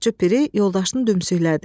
Ovçu piri yoldaşını dümsüklədi.